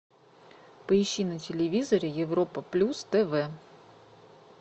поищи на телевизоре европа плюс тв